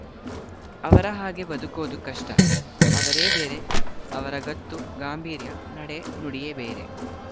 ಅವರ ಹಾಗೆ ಬದುಕೋದು ಕಷ್ಟ ಅವರೇ ಬೇರೆ ಅವರ ಗತ್ತು ಗಾಂಭಿರ್ಯ ನಡೆ ನುಡಿಯೇ ಬೇರೆ